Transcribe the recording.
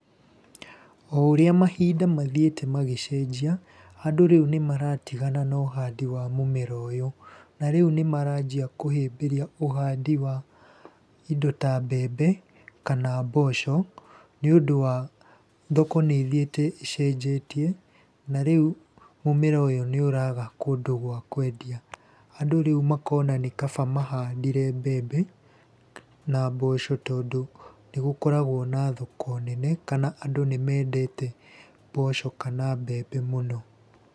O ũrĩa mahinda mathiĩte magĩcenjia, andũ rĩu nĩmaratigana na ũhandi wa mũmera ũyũ, na rĩu nĩmaranjia kũhĩmbĩria ũhandi wa indo ta mbembe kana mboco nĩũndũ wa thoko nĩ ĩthiĩte ĩcenjetie na rĩu mũmera ũyũ nĩ ũraga kũndũ gwa kendia. Andũ rĩu makona nĩ kaba mahandire mbembe na mboco tondũ nĩ gũkoragwo na thoko nene kana andũ nĩmendete mboco kana mbembe mũno.